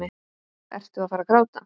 Ertu að fara að gráta?